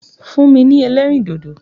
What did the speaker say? Fún mi ní ẹlẹ́rìndòdò!